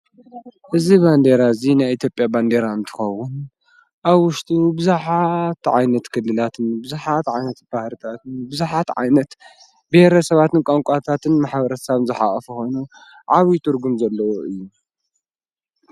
እዝ በንዴራ እዙ ናይ ኤቲጴኣ በንዲራ እንትኾውን ኣብ ውሽቱ ብዙኃት ዓይነት ክድላትን ብዙኃት ዓይነት ባህርታትን ብዙኃት ዓይነት ብኅረ ሰባትን ቋንቋታትን መሓብረሳብ ዝኃቐፍ ሆኑ ዓዊጡርጉም ዘለዎ እዩ።